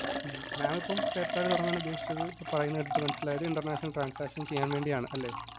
mam ഇപ്പം PayPal തുടങ്ങാന്‍ ഉദ്ദേശിച്ചത് പറയുമ്പോ എനിക്ക് മനസ്സിലായത് international transactions ചെയ്യാന്‍ വേണ്ടിയാണ് അല്ലെ?